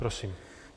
Prosím.